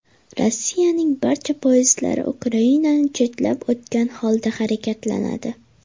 Rossiyaning barcha poyezdlari Ukrainani chetlab o‘tgan holda harakatlanadi.